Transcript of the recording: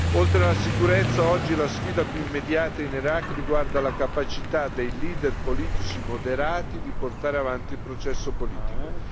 Oltre alla sicurezza, oggi la sfida più immediata in Iraq riguarda la capacità dei leader politici moderati di portare avanti il processo politico.